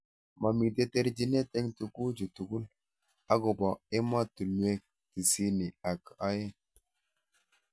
Momitei terjinet eng tukujut tugul akobo emotunwek tisaini ak aeng.